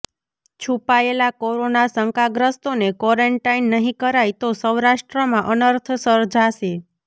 છુપાયેલા કોરોના શંકાગ્રસ્તોને કોરેન્ટાઇન નહીં કરાય તો સૌરાષ્ટ્રમાં અનર્થ સર્જાશે